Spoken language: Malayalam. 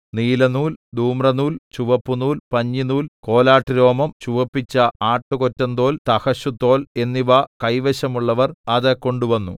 നീലനൂൽ ധൂമ്രനൂൽ ചുവപ്പുനൂൽ പഞ്ഞിനൂൽ കോലാട്ടുരോമം ചുവപ്പിച്ച ആട്ടുകൊറ്റന്തോൽ തഹശൂതോൽ എന്നിവ കൈവശമുള്ളവർ അത് കൊണ്ട് വന്നു